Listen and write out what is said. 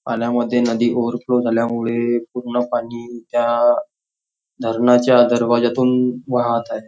पाण्यामध्ये नदी ओव्हरफ्लोव झाल्यामुळे पूर्ण पाणी त्या धरणाच्या दरवाज्यातून वाहत आहे.